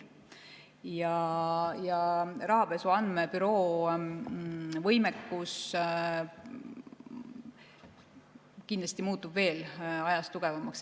Rahapesu Andmebüroo võimekus muutub ajas kindlasti veel tugevamaks.